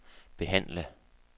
behandle